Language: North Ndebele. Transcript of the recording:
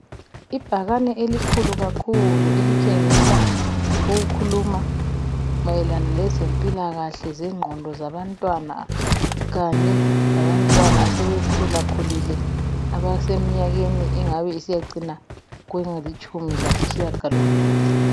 Ibhakane elikhulu kakhulu elitshengisa okukhuluma mayelana lezempilakahle zengqqondo zabantwana kanye labantwana asebe khula khulile abaseminyakeni engabe isiya cina kwelitshumi lasitshiya ngalo mbili.